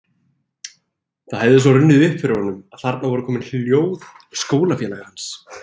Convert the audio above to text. Það hefði svo runnið upp fyrir honum að þarna voru komin ljóð skólafélaga hans